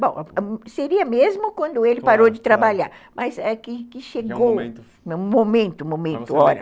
Bom, seria mesmo quando ele parou de trabalhar, mas é que que chegou um momento, momento, hora.